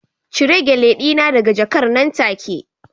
Cire Gele dina daga jakar nan take